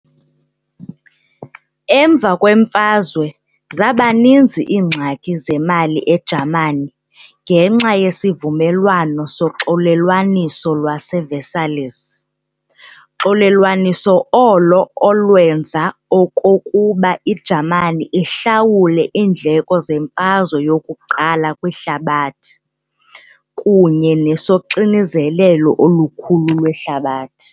Emva kweMfazwe, zabaninzi iingxaki zemali eJamani ngenxa yesivumelwano soxolelwaniso lwase-Versailles xolelwaniso olo olwenza okokuba iJamani ihlawule iindleko zeMfazwe yokuQala kwiHlabathi kunye nesoxinzelelo olukhulu lweHlabathi.